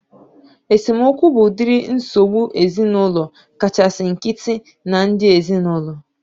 Esemokwu bụ udiri nsogbu ezinaụlọ kachasị nkịtị na ndị ezinaụlọ